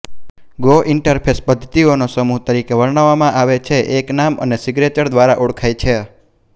go interface પદ્ધતિઓનો સમૂહ તરીકે વર્ણવવામાં આવે છે એક નામ અને સિગ્નેચર દ્વારા ઓળખાય છે